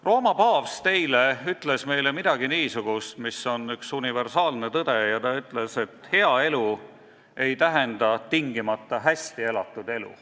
Rooma paavst ütles meile eile midagi niisugust, mis on üks universaalne tõde: ta ütles, et hea elu ei tähenda tingimata hästi elatud elu.